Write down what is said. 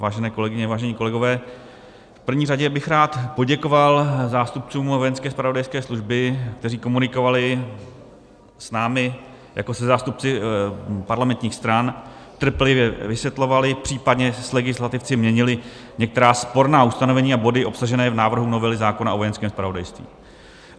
Vážené kolegyně, vážení kolegové, v první řadě bych rád poděkoval zástupcům vojenské zpravodajské služby, kteří komunikovali s námi jako se zástupci parlamentních stran, trpělivě vysvětlovali, případně s legislativci měnili některá sporná ustanovení a body obsažené v návrhu novely zákona o Vojenském zpravodajství.